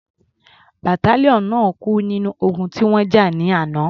Battalion náà kú nínú ogun tí wọ́n jà ní àná.